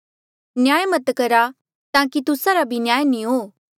7 न्याय मत करहा ताकि तुस्सा रा भी न्याय नी हो